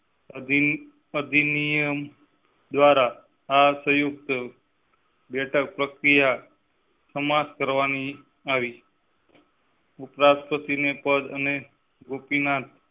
આધીન અધિનિયમ દ્વારા આ સંયુક્ત બેઠક પ્રક્રિયા સમાંપ્ત કરવાની ઉપરાષ્ટ્રપતિ ના પદ ગોપીનાથ.